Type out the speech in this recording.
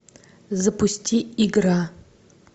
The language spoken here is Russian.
запусти игра